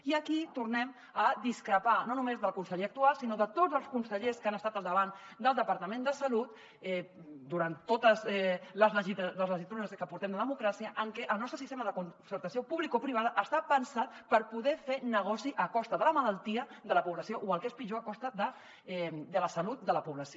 i aquí tornem a discrepar no només del conseller actual sinó de tots els consellers que han estat al davant del departament de salut durant totes les legislatures que portem de democràcia en què el nostre sistema de concertació publicoprivada està pensat per poder fer negoci a costa de la malaltia de la població o el que és pitjor a costa de la salut de la població